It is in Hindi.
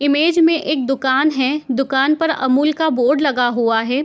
इमेज में एक दुकान है दुकान पर अमूल का बोर्ड लगा हुआ है।